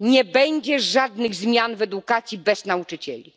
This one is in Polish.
Nie będzie żadnych zmian w edukacji bez nauczycieli,